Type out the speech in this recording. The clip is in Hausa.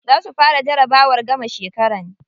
Za su fara jarabawar gamar shekara.